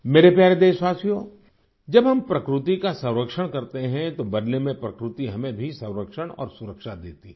मेरे प्यारे देशवासियो जब हम प्रकृति का संरक्षण करते हैं तो बदले में प्रकृति हमें भी संरक्षण और सुरक्षा देती है